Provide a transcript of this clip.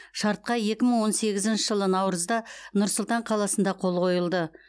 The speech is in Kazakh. шартқа екі мың он сегізінші жылы наурызда нұр сұлтан қаласында қол қойылды